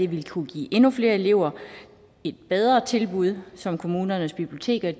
vil kunne give endnu flere elever et bedre tilbud som kommunernes biblioteker